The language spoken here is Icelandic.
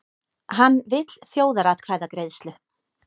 Hann vill þjóðaratkvæðagreiðslu